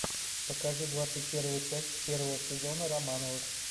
покажи двадцать первую часть первого сезона романовых